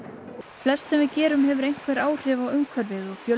flest sem við gerum hefur einhver áhrif á umhverfið og